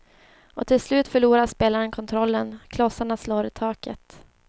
Och till slut förlorar spelaren kontrollen, klossarna slår i taket.